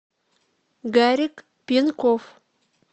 гарик пинков